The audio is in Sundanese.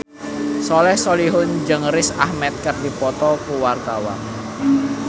Soleh Solihun jeung Riz Ahmed keur dipoto ku wartawan